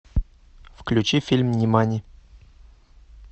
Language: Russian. включи фильм нимани